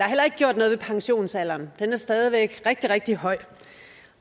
heller ikke gjort noget ved pensionsalderen den er stadig væk rigtig rigtig høj